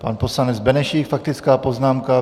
Pan poslanec Benešík, faktická poznámka.